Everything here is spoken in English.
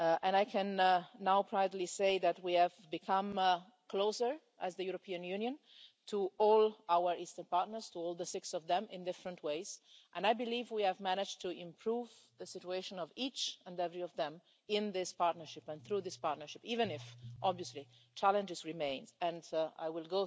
I can now proudly say that we have become closer, as the European Union, to all our Eastern partners, to all six of them, in different ways, and I believe we have managed to improve the situation of each and every one of them in this partnership and through this partnership even if, obviously, challenges remain, and I will